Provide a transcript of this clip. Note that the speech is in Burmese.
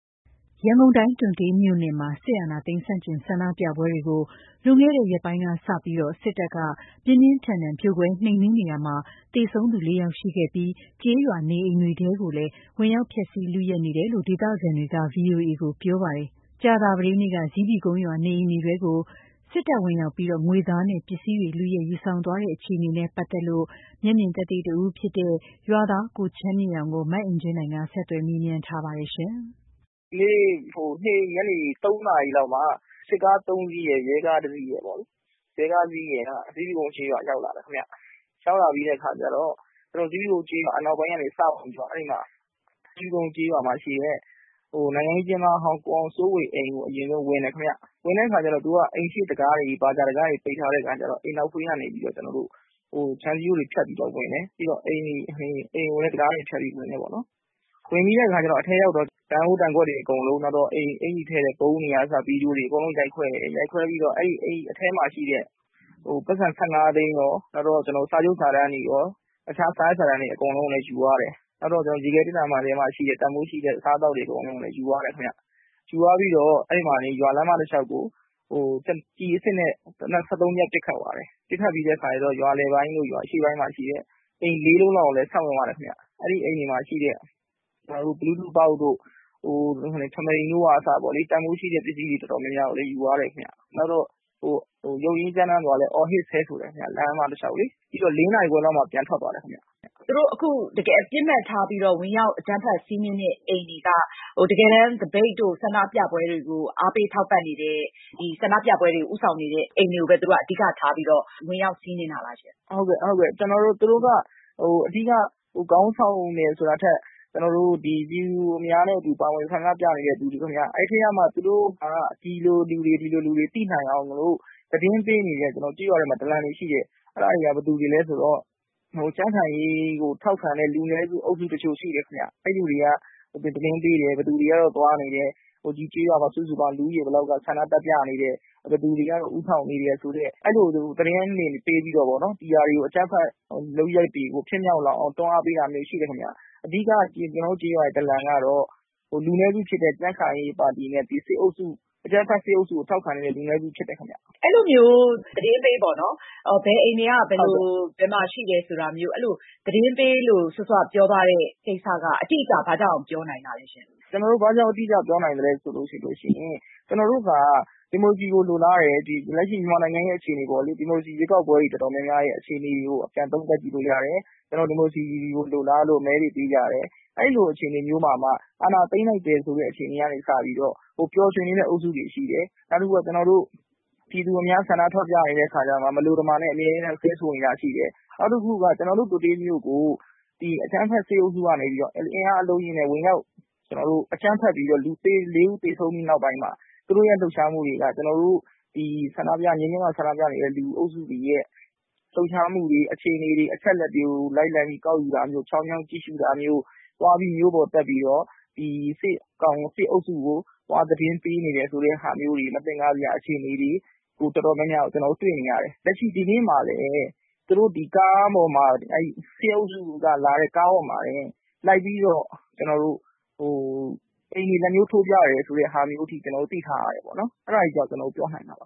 ရန်ကုန်တိုင်း တွံတေးမြို့နယ်မှာ စစ်အာဏာသိမ်းဆန့်ကျင်ဆန္ဒပြပွဲတွေကို လွန်ခဲ့တဲ့ ရက်ပိုင်းကစပြီး စစ်တပ်ကနေ ပြင်းပြင်းထန်ထန်ဖြိုခွဲနှိမ်နင်းနေရာမှာ သေဆုံးသူ လေးယောက်ရှိခဲ့ပြီး ကျေးရွာနေအိမ်တွေထဲကိုလည်းဝင်ရောက် ဖျက်စီးလုယက်နေတယ်လို့ ဒေသခံတွေက ဗွီအိုအေကို ပြောပါတယ်။ ကြာသာပတေးနေ့က ဇီးဖြူကုန်းရွာ နေအိမ်တွေထဲကို စစ်တပ်ဝင်ရောက်ပြီး ငွေသားနဲ့ ပစ္စည်းတွေ လုယက်ယူဆောင်သွားတဲ့အခြေအနေနဲ့ ပတ်သက်လို့ မျက်မြင်သက်သေတဦးဖြစ်တဲ့ ရွာသား ကိုချမ်းမြေ့အောင်ကို မအင်ကြင်းနိုင်က ဆက်သွယ်မေးမြန်းထားရာမှာ သူက အခုလို စပြောပါတယ်။ ဒီနေ့ ညနေ ၃ နာရီလောက်မှာ စစ်ကား ၃ စီးရယ်၊ ရဲကား ၁ စီးရယ်ပေါ့ ဇီးဖြူကုန်းကျေးရွာကို ရောက်လာတယ်ခင်ဗျ။ ဇီးဖြူကုန်းကျေးရွာအနောက်ပိုင်းကနေစဝင်ပြီးတော့ အဲဒီမှာ ဇီးဖြူကုန်းကျေးရွာမှာရှိတဲ့ နိုင်ငံရေးအကျဉ်းသားဟောင်း ကိုအောင်စိုးေ၀ အိမ်ကို ဝင်တယ်ခင်ဗျ။ ဝင်တဲ့အခါကျတော့ အိမ်ရှေ့တံခါးတွေ ပိတ်ထားတော့ အိမ်နောက်ဖေးကနေ ခြံစည်းရိုးတွေ ဖျက်ပြီးတော့ ဝင်တယ်။ ပြီးတော့ အိမ်ကိုလည်း တံခါးတွေ ဖျက်ပြီးတော့ ဝင်တယ်ပေါ့နော်။ ပြီးတော့ အထဲရောက်တော့ ဒန်အိုးဒန်ခွက်တွေအကုန်လုံး အင်္ကျီထည့်တဲ့ ဘီဒိုတွေကအစ ရိုက်ခွဲတယ်။ ရိုက်ခွဲပြီးတော့ အထဲမှာ ရှိတဲ့ ပိုက်ဆံ ၁၅ သိန်းရော ၊ စာချုပ်စာတမ်းတွေ၊ အခြား စာရွက်စာတမ်းတွေကိုလည်း ယူသွားတယ်။ နောက်ပြီးတော့ ရေခဲသေတ္တာမှာရှိတဲ့ တန်ဖိုးရှိတဲ့ အစားအသောက်တွေကိုလည်း ယူသွားတယ်။ ယူသွားပြီးတော့ ရွာလမ်းမတလျှောက်ကို ကျည်အစစ်နဲ့ သေနတ် ၁၃ ချက် ပစ်ခတ်သွားတယ်။ ပစ်ခတ်သွားတဲ့အခါကျတော့ ရွာလယ်ပိုင်းတို့ရွာ အရှေ့ပိုင်းမှာရှိတဲ့ အိမ် ၄ လုံးလောက်ကိုလည်း ဆက်ဝင်သွားတယ်ခင်ဗျ။ အဲဒီအိမ်တွေမှာရှိတဲ့ Bluetooth box တို့ ထမီတို့ကအစ တန်ဖိုးရှိတဲ့ပစ္စည်းတွေကိုလည်း ယူသွားတယ်ခင်ဗျ။ နောက်ပြီးတော့ ယုတ်ကြမ်းတမ်းစွာ အော်ဟစ်ဆဲဆိုတယ်ခင်ဗျ လမ်းမတလျှောက်လေ။ ပြီးတော့ ၄ နာရီခွဲလောက်မှာ ပြန်ထွက်သွားတယ်ခင်ဗျ။ သူတို့ ပစ်မှတ်ထားပြီးတော့ ဝင်ရောက်စီးနင်းတဲ့ အိမ်တွေက တကယ်တမ်း သပိတ်တို့ ဆန္ဒပြပွဲတွေကို အားပေး ထောက်ပံ့နေတဲ့ ဆန္ဒပြပွဲတွေကို ဦးဆောင်နေတဲ့ အိမ်တွေကို အဓိကထားပြီးတော့ ဝင်ရောက်စီးနင်းတာလားရှင့်။ ဟုတ်ကဲ့ သူတို့က အဓိက ခေါင်းဆောင်တယ်ဆိုတာထက် ပြည်သူများနဲ့အတူ ပါဝင်ပြီးတော့ ဆန္ဒပြနေတဲ့ လူတွေခင်ဗျ။ အဲဒီထဲကမှ သူတို့က ဒီလိုလူတွေ သိနိုင်အောင်လို့ သတင်းပေးနေတဲ့ ကျနော်တို့ ကျေးရွာထဲမှာ ဒလံတွေရှိတယ် ။ သူတို့က ဘယ်သူတွေလဲဆိုတော့ ကြံ့ခိုင်ရေးကို ထောက်ခံတဲ့ လူနည်းစု အုပ်စု တချို့ရှိတယ်ခင်ဗျ။ အဲဒီလူတွေက သတင်းပေးတယ် ၊ ဘယ်သူတွေက သွားနေတယ်။ ဒီကျေးရွာမှာ စုစုပေါင်း လူဦးရေ ဘယ်လောက်က ဆန္ဒသွားပြနေတယ်။ ဘယ်သူတွေက ဦးဆောင်နေတယ် အဲလို သတင်းတွေပေးပြီးတော့ပေါ့နော် ဒီအကြမ်းဖက် လုပ်ရပ်တွေကို ဖြစ်မြောက်လာအောင် တွန်းအားပေးတာမျိုး ရှိတယ်ခင်ဗျ။ အဓိက ကျနော်တို့ ကျေးရွာ ဒလံ ကတော့ လူနည်းစု ကြံ့ခိုင်ရေးပါတီနဲ့၊ ဒီအကြမ်းဖက် စစ်အုပ်စုကို ထောက်ခံနေတဲ့ လူနည်းစု ဖြစ်တယ်ခင်ဗျ။ အဲလိုမျိုး သတင်းပေးပေါ့နော် ဘယ်အိမ်တွေက ဘယ်မှာ ရှိတယ်ဆိုတာမျိုး အဲလိုမျိုး သတင်းပေးလို့ စောစောက ပြောသွားတဲ့ ကိစ္စက အတိအကျ ဘာကြောင့်ပြောနိုင်တာလဲ။ ကျနော်တို့ ဘာကြောင့် အတိအကျ ပြောနိုင်သလဲဆိုတော့ ကျနော်တို့က ဒီမိုကရေစီကို လိုလားတယ်၊ လက်ရှိ မြန်မာနိုင်ငံရဲ့ အခြေအနေအပေါ် ဒီမိုကရေစီ ရွေးကောက်ပွဲ တော်တော်များများအခြေအနေကို ပြန်သုံးသပ်ကြည့်လို့ရတယ်။ ဒီမိုကရေစီကို လိုလားလို့ မဲတွေ ပေးကြတယ်။ အဲလိုအခြေအနေမျိုးမှာမှ အာဏာသိမ်းလိုက်တယ်ဆိုတဲ့ အခြေအနေကို စပြီးတော့ ပျော်ရွှင်နေတဲ့ အုပ်စုတွေရှိတယ်။ နောက်တခုက ပြည်သူအများ ဆန္ဒထွက်ပြနေတဲ့အခါမှာ မလိုတမာနဲ့ အမြဲတမ်း ဆဲဆိုနေတာတွေရှိတယ်။ နောက်တခုက ကျနော်တို့ တွံတေးမြို့ကို အကြမ်းဖက် စစ်အုပ်စုကနေစပြီး အင်အားအလုံးအရင်းနဲ့ အကြမ်းဖက်ပြီးတော့ လူူ ၄ ဦးသေဆုံးပြီးနောက်ပိုင်းမှာ သူတို့ လှုပ်ရှားမှုတွေက ကျနော်တို့ ငြိမ်းချမ်းစွာ ဆန္ဒပြနေတဲ့ လူအုပ်စုတွေရဲ့ လှုပ်ရှားမှုတွေ အခြေအနေတွေ၊ အချက်အလက်တွေကို လိုက်ကောက်တာမျိုး ချောင်းမြောင်း ကြည့်ရှု့တာမျိုး သွားပြီးမြို့ပေါ်တက်ပြီးတော့ ဒီ စစ်အုပ်စုကို သွားပြီးတော့ သတင်းပေးနေတယ်ဆိုတဲ့ဟာတွေ မသင်္ကာစရာအခြေအနေတွေ တော်တော်များများကို ကျနော်တို့ တွေ့နေရတယ်။ လက်ရှိ ဒီနေ့မှာလည်း ဒီ စစ်အုပ်စုကလာတဲ့ ကားပေါ်မှာလိုက်ပြီးတော့ အိမ်တွေ လက်ညှိုးထိုးပြတယ်ဆိုတာမျိုးအထိ ကျနော်တို့ သိထားတယ်။ အဲဒါတွေကြောင့် ကျနော်ပြောနိုင်တာပါ